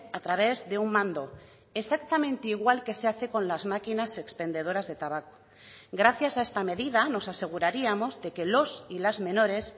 a través de un mando exactamente igual que se hace con las máquinas expendedoras de tabaco gracias a esta medida nos aseguraríamos de que los y las menores